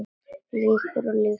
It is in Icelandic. Lýgur og lýgur.